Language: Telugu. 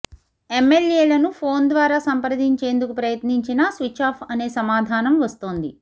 ఎమ్మెల్యేలను ఫోన్ ద్వారా సంప్రదించేందుకు ప్రయత్నించినా స్విచ్చాఫ్ అనే సమాధానం వస్తోంది